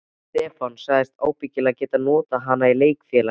Stefán sagðist ábyggilega geta notað hana í leikfélaginu.